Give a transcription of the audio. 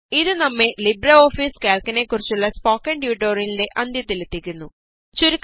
ഇത് നമ്മെ ലിബ്രെഓഫീസ് കാല്ക്കിനെ കുറിച്ചുള്ള സ്പോക്കണ് ട്യൂട്ടോറിയലിന്റെ അന്ത്യത്തിലെത്തിക്കുന്നു